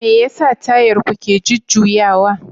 Me yasa Tayar ku ke jujjuyawa?